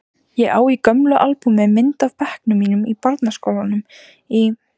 Ég á í gömlu albúmi mynd af bekknum mínum í barnaskólanum í